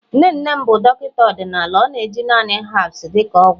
nne nne m bụ Dọkịta ọdịnala ọ na-eji naanị herbs dị ka ọgwụ